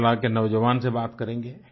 केरला के नौजवान से बात करेंगे